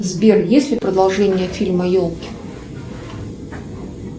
сбер есть ли продолжение фильма елки